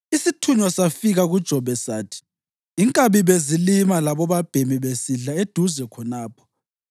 isithunywa safika kuJobe sathi, “Inkabi bezilima labobabhemi besidla eduze khonapho,